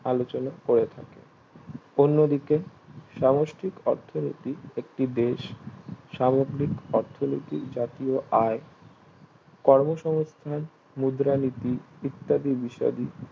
আলোচনা করে থাকে অন্যদিকে সমষ্টিক অর্থনীতি একটি বেশ সামগ্রিক অর্থনীতি জাতীয় আয় কর্ম সমস্থান মুদ্রা নীতি ইত্যাদি বিষয়াদি